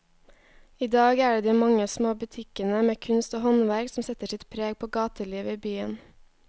I dag er det de mange små butikkene med kunst og håndverk som setter sitt preg på gatelivet i byen.